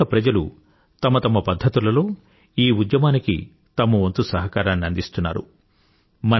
పలుచోట్ల ప్రజలు తమ తమ పధ్ధతులలో ఈ ఉద్యమానికి తమ వంతు సహకారాన్ని అందిస్తున్నారు